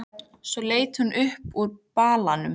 Svo leit hún upp úr balanum.